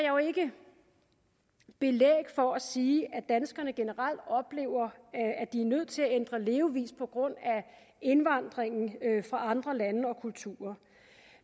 jo ikke belæg for at sige at danskerne generelt oplever at de er nødt til at ændre levevis på grund af indvandring fra andre lande og kulturer